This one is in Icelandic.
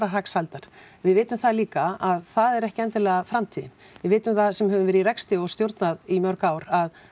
hagsældar við vitum það líka að það er ekki endilega framtíðin við vitum það sem höfum verið í rekstri og stjórnað í mörg ár að